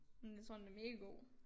Men jeg tror den er mega god